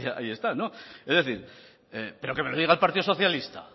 ahí están es decir pero que me lo diga el partido socialista